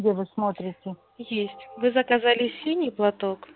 где вы смотрите есть вы заказали синий платок